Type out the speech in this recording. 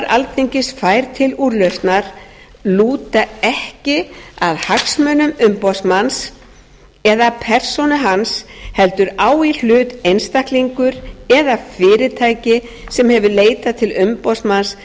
alþingis fær til úrlausnar lúta ekki að hagsmunum umboðsmanns eða persónu hans heldur á í hlut einstaklingur eða fyrirtæki sem hefur leitað til umboðsmanns